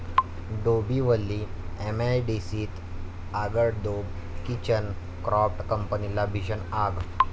डोंबिवली एमआयडीसीत आगडोंब, kitchen craft कंपनीला भीषण आग